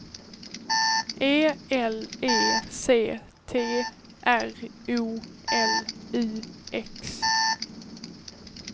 E L E C T R O L U X